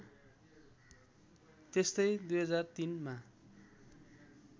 त्यस्तै २००३ मा